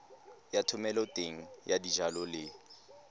ya thomeloteng ya dijalo le